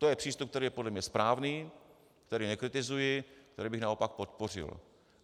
To je přístup, který je podle mě správný, který nekritizuji, který bych naopak podpořil.